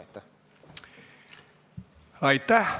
Aitäh!